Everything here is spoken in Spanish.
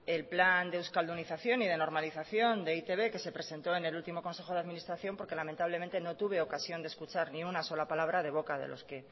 el plan de euskaldunazación y de normalización de e i te be que se presentó en el último consejo de administración porque lamentablemente no tuve ocasión de escuchar ni una sola palabra de boca de los que